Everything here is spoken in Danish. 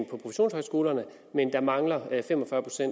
produktionshøjskolerne men der mangler fem